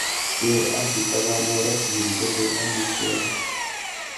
Keer ak itaban oret nekichoben amitwogik.